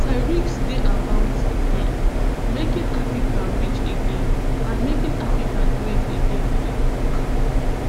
tariffs dey about um making america rich again and making america great again e tok